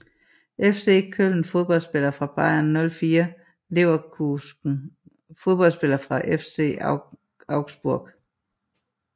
FC Köln Fodboldspillere fra Bayer 04 Leverkusen Fodboldspillere fra FC Augsburg